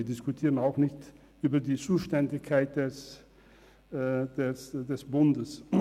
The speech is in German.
Wir diskutieren nicht über die Zuständigkeiten des Bundes.